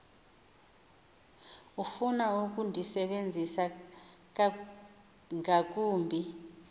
ofuna ukundisebenzisa ngakumbi